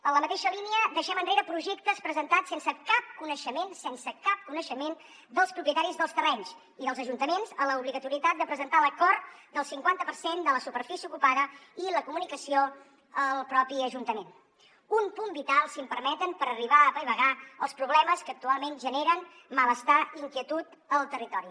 en la mateixa línia deixem enrere projectes presentats sense cap coneixement sense cap coneixement dels propietaris dels terrenys i dels ajuntaments a l’obligatorietat de presentar l’acord del cinquanta per cent de la superfície ocupada i la comunicació al propi ajuntament un punt vital si em permeten per arribar a apaivagar els problemes que actualment generen malestar i inquietud al territori